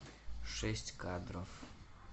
шесть кадров